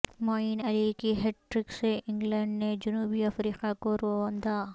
معین علی کی hat trick سے England نے جنوبی افریقہ کو روندا